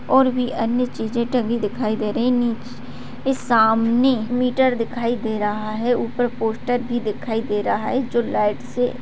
और भी अन्य चीजें टंगी दिखाई दे रही है नीच इस सामने मीटर दिखाई दे रहा है ऊपर पोस्टर भी दिखाई दे रहा है जो लाइट से --